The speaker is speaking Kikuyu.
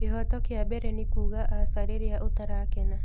Kĩhooto kĩa mbere nĩ kuuga aca rĩrĩa ũtarakena.